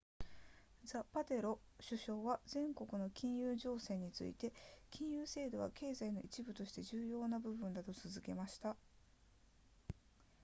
ザパテロ首相は世界の金融情勢について金融制度は経済の一部として重要な部分だと続けました